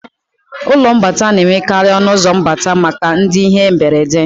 Ụlọọgwụ na-enwekarì ọnụụzọ mbata maka ndị ihe mberede